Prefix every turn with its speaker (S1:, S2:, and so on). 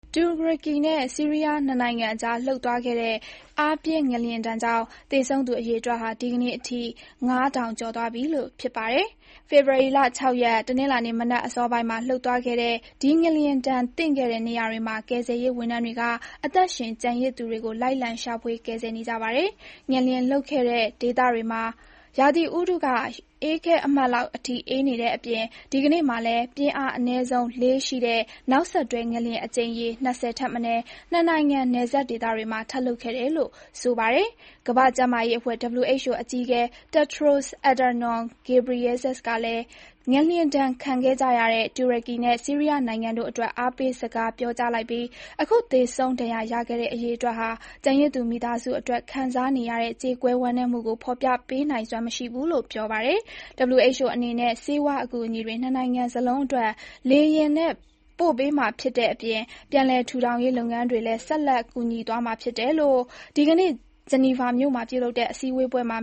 S1: တူရကီနဲ့ ဆီးရီးယား နှစ်နိုင်ငံအကြားလှုပ်သွားခဲ့တဲ့ အားပြင်း ငလျင်ဒဏ်ကြောင့် သေဆုံးသူအရေတွက်ဟာ ဒီကနေ့အထိ ၅,၀၀၀ ကျော်သွားပြီ ဖြစ်ပါတယ်။ ဖေဖော်ဝါရီ ၆ ရက်၊ တနင်္လာနေ့မနက်အစောပိုင်းမှာ လှုပ်သွားခဲ့တဲ့ ဒီငလျင်ဒဏ်သင့်ခဲ့တဲ့ နေရာတွေမှာ ကယ်ဆယ်ရေးဝန်ထမ်းတွေက အသက်ရှင်ကျန်ရစ်သူတွေကို လိုက်လံ ရှာဖွေ၊ ကယ်ဆယ်နေကြပါတယ်။ ငလျင်လှုပ်ခဲ့တဲ့ ဒေသတွေမှာ ရာသီဥတုက ရေခဲအမှတ်လောက်အထိ အေးနေတဲ့အပြင် ဒီကနေ့မှာလည်း ပြင်းအားအနည်းဆုံး ၄.၀ ရှိတဲ့ နောက်ဆက်တွဲငလျင် အကြိမ်ရေ ၂၀ ထက်မနည်း နှစ်နိုင်ငံ နယ်စပ်ဒေသတွေမှာ ထပ်လှုပ်ခဲ့တယ်လို့ ဆိုပါတယ်။ ကမ္ဘာ့ကျန်းမာရေးအဖွဲ့ WHO အကြီးအကဲ Tedros Adhanom Ghebreyesus ကလည်း ငလျင်ဒဏ်ခံကြရတဲ့ တူရကီနဲ့ ဆီးရီးယားနိုင်ငံတို့အတွက် အားပေးစကားပြောကြားလိုက်ပြီး အခုသေဆုံးဒဏ်ရာရခဲ့တဲ့ အရေအတွက်ဟာ ကျန်ရစ်သူ မိသားစုတွေ ခံစားနေရတဲ့ ကြေကွဲ ဝမ်းနည်းမှုကို ဖော်ပြပေးနိုင်စွမ်း မရှိဘူးလို့ ပြောပါတယ်။ WHO အနေနဲ့ ဆေးဝါးအကူအညီတွေ နှစ်နိုင်ငံစလုံးအတွက် လေယာဉ်နဲ့ ပို့ပေးမှာဖြစ်တဲ့အပြင် ပြန်လည် ထူထောင်ရေးလုပ်ငန်းတွေလည်း ဆက်လက် ကူညီပေးသွားမယ်လို့ ဒီကနေ့ ဂျနီဗာမြို့မှာ ပြလုပ်တဲ့ စည်းဝေးပွဲမှ